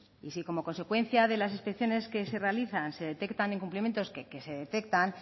y si como consecuencia de las inspecciones que se realizan se detectan incumplimientos que se detectan